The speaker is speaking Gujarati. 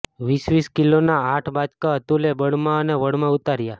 વીસ વીસ કિલોના આઠ બાચકા અતુલે બળમાં અને વળમાં ઉતાર્યા